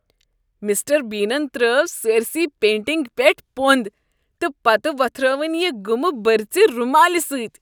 Mister بینن ترٛٲوِ سٲرِسٕے پینٛٹِنگہِ پیٹھ پۄنٛدٕ تہٕ پتہٕ وۄتھرٲوٕن یہِ گُمہٕ بٔرژِ رُمالہِ سٕتۍ۔